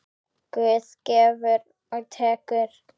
Guð gefur og tekur.